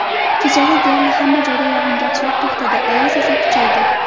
Kechasi deyarli hamma joyda yog‘ingarchilik to‘xtadi, ayoz esa kuchaydi.